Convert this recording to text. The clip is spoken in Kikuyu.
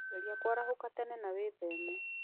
Geria kũarahũka tene na wĩtheme.